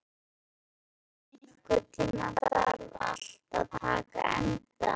Bragi, einhvern tímann þarf allt að taka enda.